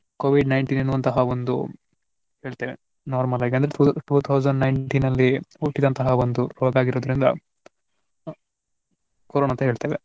Covid nineteen ಎನ್ನುವಂತಹ ಒಂದು ಹೇಳ್ತೆವೆ normal ಆಗಿ two two thousand nineteen ನಲ್ಲಿ ಹುಟ್ಟಿದಂತಹ ಒಂದು ರೋಗ ಆಗಿರುವುದರಿಂದ ಕೊರೊನಾ ಅಂತ ಹೇಳ್ತೆವೆ.